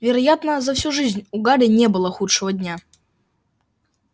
вероятно за всю жизнь у гарри не было худшего дня